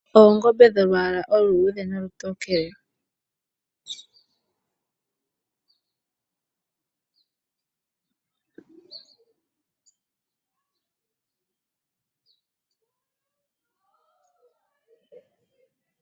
Oongombe dholwaala oludhe nolutokele.